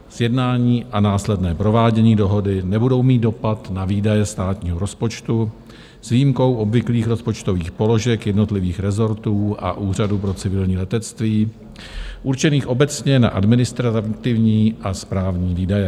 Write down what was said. Sjednání a následné provádění dohody nebudou mít dopad na výdaje státního rozpočtu, s výjimkou obvyklých rozpočtových položek jednotlivých rezortů a Úřadu pro civilní letectví určených obecně na administrativní a správní výdaje.